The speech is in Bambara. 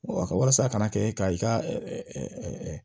ka walasa a kana kɛ ka i ka